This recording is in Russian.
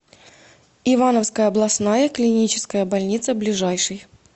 ивановская областная клиническая больница ближайший